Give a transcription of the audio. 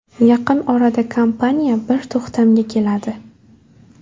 Yaqin orada kompaniya bir to‘xtamga keladi.